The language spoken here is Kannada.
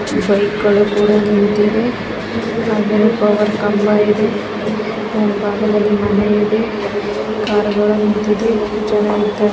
ಬೈಕಗಳು ಕೂಡ ನಿಂತಿದೆ ಹಾಗೆ ಅಲ್ಲೊಂದು ಕಂಬ ಇದೆ ಕಾರ್ಗಳು ನಿಂತಿದೆ.